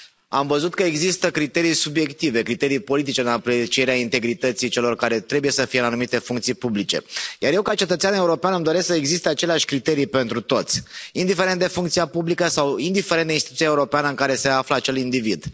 Am văzut că există criterii subiective, criterii politice în aprecierea integrității celor care trebuie să fie în anumite funcții publice, iar eu ca cetățean european îmi doresc să existe aceleași criterii pentru toți, indiferent de funcția publică sau indiferent de instituția europeană în care se află acel individ.